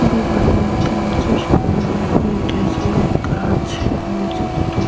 পোড়ো বাড়ির মতন আছে। সামনে অনেকগুলো গাছ রয়েছে টুঁ --